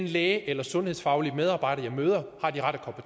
læge eller sundhedsfaglige medarbejder jeg møder har de rette